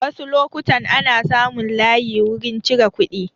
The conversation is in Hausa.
Wasu lokutan ana samun layi wurin cire kuɗi